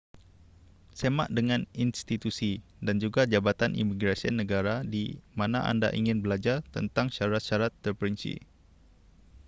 semak dengan institusi dan juga jabatan imigresen negara di mana anda ingin belajar tentang syarat-syarat terperinci